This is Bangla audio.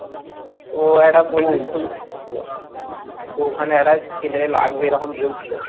তো একটা ছিল, তো ওখানে একটা ছেলে লাগবে এরকম বলছিল